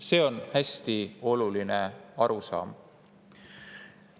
See on hästi oluline arusaam.